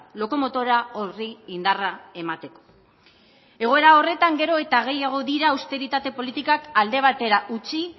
lokomotora horri indarra emateko egoera horretan gero eta gehiago dira austeritate politikak alde batera utzi